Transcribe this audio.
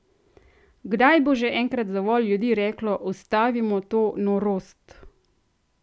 Kdaj bo že enkrat dovolj ljudi reklo ustavimo to norost!